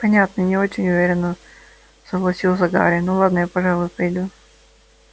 понятно не очень уверенно согласился гарри ну ладно я пожалуй пойду